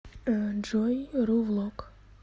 джой ру влог